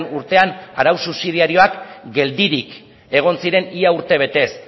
urtean arau subsidiarioak geldirik egon ziren ia urtebetez